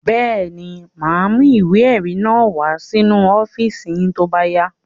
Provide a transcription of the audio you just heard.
Bẹ́ẹ̀ ni, mà á mú ìwé-ẹ̀rí náà wá sínú ọ́fíísì yín tó bá yá.